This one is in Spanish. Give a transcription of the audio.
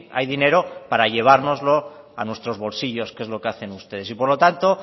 hay dinero para llevárnoslo a nuestros bolsillos que es lo que hacen ustedes y por lo tanto